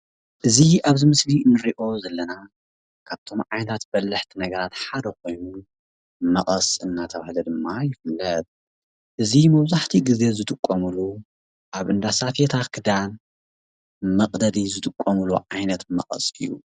እዚ ኣብዚ ምስሊ ንሪኦ ዘለና ካብቶም ዓይነታት በላሕቲ ነገራት ሓደ ኾይኑ መቐስ እናተብሃለ ድማ ይፍለጥ። እዚ መብዛሕትኡ ግዘ ንጥቀመሉ ኣብ እንዳ ሳፌታ ክዳን መቅደዲ ዝጥቀምሉ ዓይነት መቐስ እዩ ።